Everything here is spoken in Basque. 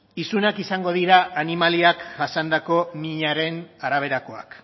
isunak izango dira animaliak jasandako minaren araberakoak